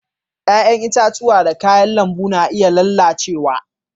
Yayan itatuwa da kayan lambu na iya lallacewa.